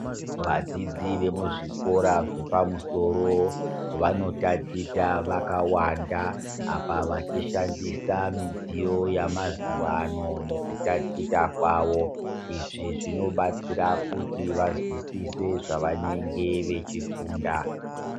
Vadzidzi vemuzvikora zvepamusoro vanotaticha vakawanda, apa vachishandisa midziyo yamazuva ano mukutaticha kwavo. Izvi zvinobatsira kuti vazwisise zvavanenge vachifunda.